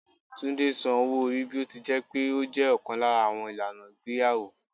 Túndé san owó-orí bí ó ti jẹ́ pé ó jẹ́ ọ̀kan lára àwọn ìlànà ìgbéyàwó.